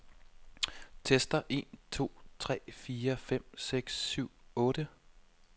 Tester en to tre fire fem seks syv otte.